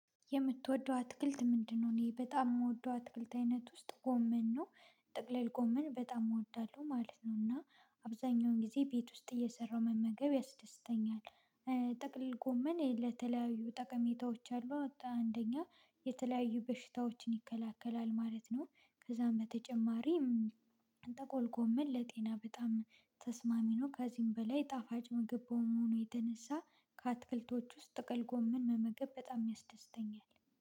የምትወደው አትክልት ምንድነው? እኔ በጣም የምወደው አትክልት አይነት ውስጥ ጎመን ነው። ጠቅልል ጎመን በጣም እወዳለሁ ማለት ነው። እና አብዛኛውን ጊዜ ቤት ውስጥ እየሰራሁ መመገብ ያስደስተኛል። ጠቅልል ጎመን የተለያዩ ጠቀሜታዎች አሉ። አንደኛ የተለያዩ በሽታዎችን ይከለክላል ማለት ነው። ከዛም በተጨማሪ ጥቅልል ጎመን ለጤና በጣም ተስማሚ ነው። ከዚህም በላይ ጣፋጭ ምግብ መሆኑ የተነሳ ከአትክልቶች ውስጥ ጠቅልል ጎምን መመገብ በጣም ያስደስተኛል።